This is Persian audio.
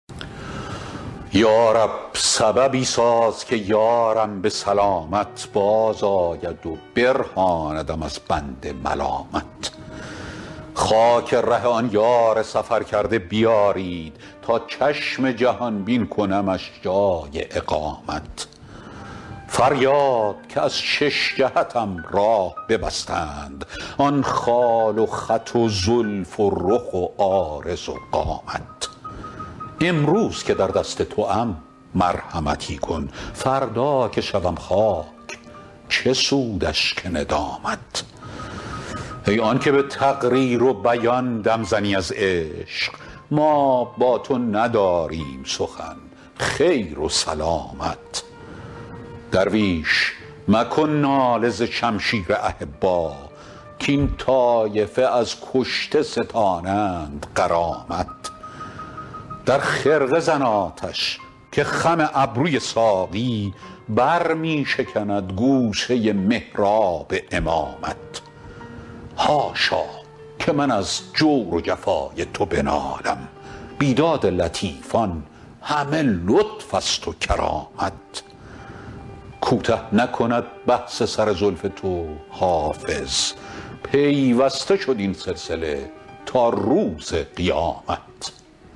یا رب سببی ساز که یارم به سلامت بازآید و برهاندم از بند ملامت خاک ره آن یار سفرکرده بیارید تا چشم جهان بین کنمش جای اقامت فریاد که از شش جهتم راه ببستند آن خال و خط و زلف و رخ و عارض و قامت امروز که در دست توام مرحمتی کن فردا که شوم خاک چه سود اشک ندامت ای آن که به تقریر و بیان دم زنی از عشق ما با تو نداریم سخن خیر و سلامت درویش مکن ناله ز شمشیر احبا کاین طایفه از کشته ستانند غرامت در خرقه زن آتش که خم ابروی ساقی بر می شکند گوشه محراب امامت حاشا که من از جور و جفای تو بنالم بیداد لطیفان همه لطف است و کرامت کوته نکند بحث سر زلف تو حافظ پیوسته شد این سلسله تا روز قیامت